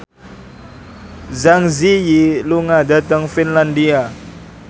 Zang Zi Yi lunga dhateng Finlandia